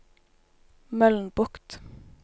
Mølnbukt